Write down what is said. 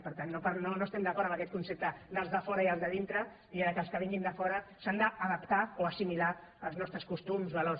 per tant no estem d’acord amb aquest concepte dels de fora i els de dintre i que els que vinguin de fora s’han d’adaptar o assimilar als nostres costums o a